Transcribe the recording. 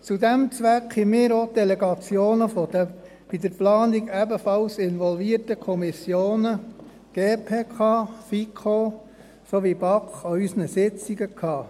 Zu diesem Zweck hatten wir an unseren Sitzungen auch Delegationen der Kommissionen GPK, FiKo sowie BaK, die in die Planung ebenfalls involviert waren.